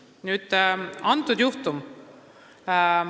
Nüüd teie mainitud juhtumist.